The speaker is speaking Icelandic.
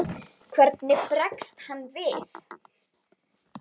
Hvernig bregst hann við?